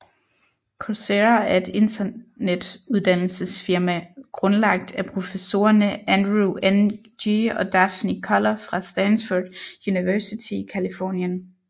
Coursera er et internet uddannelsesfirma grundlagt af professorerne Andrew Ng og Daphne Koller fra Stanford University i Californien